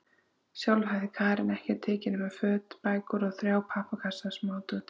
Sjálf hafði Karen ekkert tekið nema föt, bækur og þrjá pappakassa af smádóti.